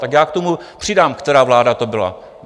Tak já k tomu přidám, která vláda to byla.